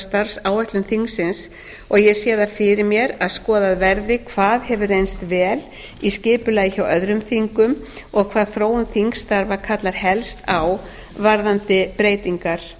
starfsáætlun þingsins og ég sé það fyrir mér að skoðað verði hvað hefur reynst vel í skipulagi hjá öðrum þingum og hvað þróun þingstarfa kallar helst á varðandi breytingar